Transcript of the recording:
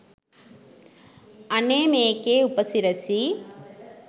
අනේ මේකේ උපසිරැසි